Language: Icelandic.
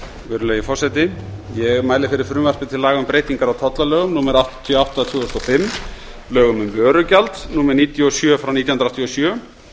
virðulegi forseti ég mæli fyrir frumvarpi til laga um breytingar á tollalögum númer áttatíu og átta tvö þúsund og fimm lögum um vörugjald númer níutíu og sjö nítján hundruð áttatíu og sjö